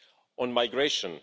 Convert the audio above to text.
On migration.